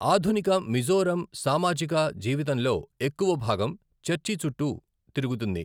ఆధునిక మిజోరం సామాజిక జీవితంలో ఎక్కువ భాగం చర్చీ చుట్టూ తిరుగుతుంది.